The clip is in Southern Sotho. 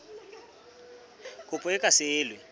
kopo e ka se elwe